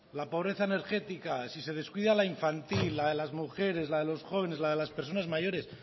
la pobreza energética si se descuida la infantil la de las mujeres la de los jóvenes la de las personas mayores